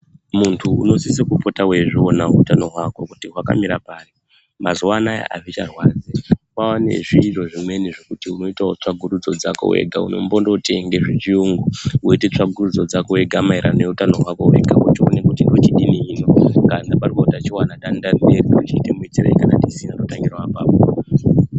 Muntu unosise kupota weizviona utano hwako kuti hwakamira pari. mazuwa anaya azicharwadzi kwane zviito zvimweni zvekuti unoitawo tsvagurudzo dzako wega kuti unombonootenge zvechiyungu woite tsvagurudzo dzako wega maererano neutano hwako wochione kuti ndochidini hino, kana pane utachiwona ndoite miitirei hino. kana pasina ndotangirawo apapo.